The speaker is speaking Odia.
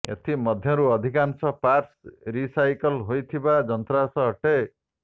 ଏଥି ମଧ୍ୟରୁ ଅଧିକାଂଶ ପାର୍ଟ୍ସ ରିସାଇକଲ ହୋଇଥିବା ଯନ୍ତ୍ରାଂଶ ଅଟେ